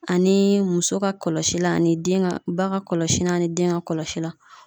Ani muso ka kɔlɔsilan ani den ka ba ka kɔlɔsilan ani den ka kɔlɔsilan